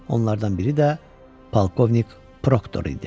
Onlardan biri də polkovnik Proktor idi.